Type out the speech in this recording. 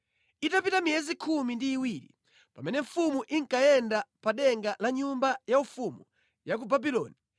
Itapita miyezi khumi ndi iwiri, pamene mfumu inkayenda pa denga la nyumba ya ufumu ya ku Babuloni,